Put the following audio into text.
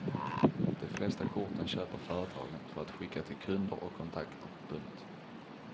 De flesta korten köper företagen för att skicka till kunder och kontakter. punkt